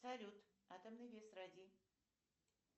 салют атомный вес радий